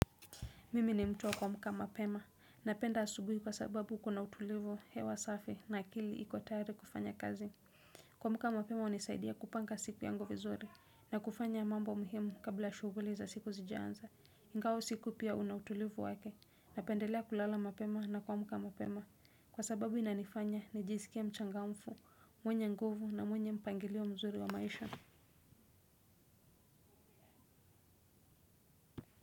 Mimi ni mtu wa kuamka mapema. Napenda asubui kwa sababu kuna utulivu hewa safi na akili iko tayari kufanya kazi. Kuamka mapema hunisaidia kupanga siku yangu vizuri na kufanya mambo muhimu kabla shughuli za siku zijianza. Ingawa usiku pia una utulivu wake. Napendelea kulala mapema na kuamka mapema. Kwa sababu inanifanya nijisikie mchangamfu, mwenye nguvu na mwenye mpangilio mzuri wa maisha.